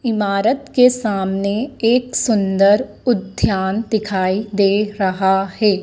इमारत के सामने एक सुंदर उद्यान दिखाई दे रहा है।